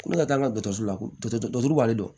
Ko ne ka taa an ka dɔkɔtɔrɔso la ko dɔ b'ale don